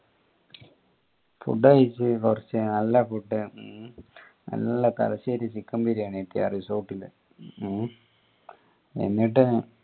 food കയ്ച് കൊറച് നല്ല food ഉം നല്ല തലശ്ശേരി chicken ബിരിയാണി കിട്ടി ആ resort ന്ന് ഹും എന്നിട്ട്